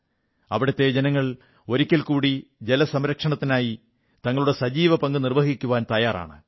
അവിടത്തെ ജനങ്ങൾ ഒരിക്കൽകൂടി ജലസംരക്ഷണത്തിനായി തങ്ങളുടെ സജീവ പങ്ക് വഹിക്കാൻ തയ്യാറാണ്